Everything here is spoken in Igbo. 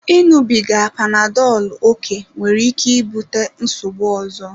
Ịṅụbiga panadolu oké nwere ike ibute nsogbu ọzọ.